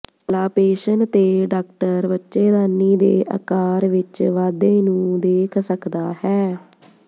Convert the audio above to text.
palpation ਤੇ doctor ਬੱਚੇਦਾਨੀ ਦੇ ਆਕਾਰ ਵਿਚ ਵਾਧੇ ਨੂੰ ਦੇਖ ਸਕਦਾ ਹੈ